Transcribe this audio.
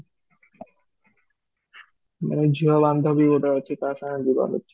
ନାହିଁ ଝିଅ ବାନ୍ଧବୀ ଗୋଟେ ଅଛି ତା ସାଙ୍ଗରେ ଯିବା ର ଅଛି